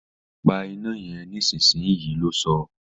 Pa iná yen nísinsìnyí! lo sọ́